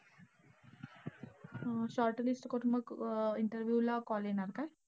हा. shortlist करून मग अं interview ला येणार का?